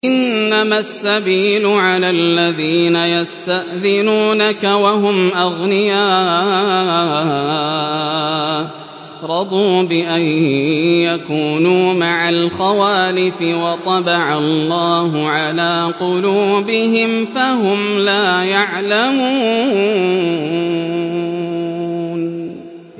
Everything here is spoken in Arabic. ۞ إِنَّمَا السَّبِيلُ عَلَى الَّذِينَ يَسْتَأْذِنُونَكَ وَهُمْ أَغْنِيَاءُ ۚ رَضُوا بِأَن يَكُونُوا مَعَ الْخَوَالِفِ وَطَبَعَ اللَّهُ عَلَىٰ قُلُوبِهِمْ فَهُمْ لَا يَعْلَمُونَ